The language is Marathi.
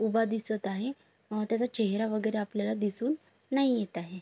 उभा दिसत आहे अ त्याचा चेहरा वगैरे आपल्याला दिसून नाही येत आहे.